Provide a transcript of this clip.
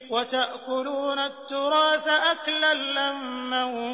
وَتَأْكُلُونَ التُّرَاثَ أَكْلًا لَّمًّا